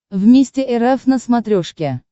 вместе эр эф на смотрешке